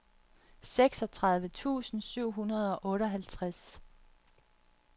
seksogtredive tusind syv hundrede og otteoghalvtreds